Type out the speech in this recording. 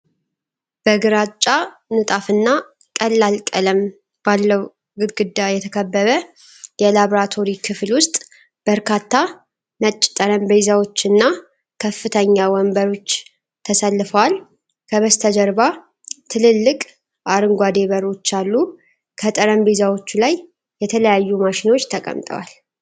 በግራጫ ንጣፍና ቀላል ቀለም ባለው ግድግዳ የተከበበ የላብራቶሪ ክፍል ውስጥ በርካታ ነጭ ጠረጴዛዎችና ከፍተኛ ወንበሮች ተሰልፈዋል። ከበስተጀርባ ትልልቅ አረንጓዴ በሮች አሉ። ከጠረንጴዎቹ ላይ የተለያዩ ማሽኖች ተቀምጠዋል።